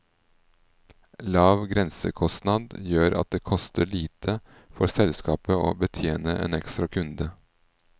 Lav grensekostnad gjør at det koster lite for selskapet å betjene en ekstra kunde.